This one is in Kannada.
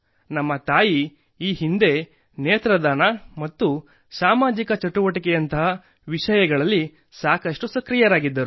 ನಮ್ಮ ತಾಯಿ ಈ ಹಿಂದೆ ನೇತ್ರದಾನ ಮತ್ತು ಸಾಮಾಜಿಕ ಚಟುವಟಿಕೆಯಂಥ ವಿಷಯಗಳಲ್ಲಿ ಸಾಕಷ್ಟು ಸಕ್ರಿಯರಾಗಿದ್ದರು